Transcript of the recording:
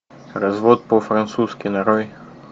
развод по французски нарой